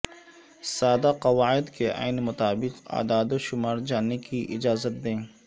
سادہ قواعد کے عین مطابق اعداد و شمار جاننے کی اجازت دے